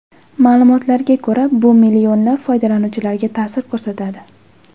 Ma’lumotlarga ko‘ra bu millionlab foydalanuvchilarga ta’sir ko‘rsatadi.